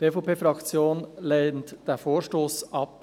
Die EVP-Fraktion lehnt diesen Vorstoss ab.